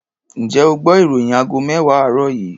Ǹjẹ́ o gbọ́ ìròyìn aago mẹ́wàá àárọ̀ yìí?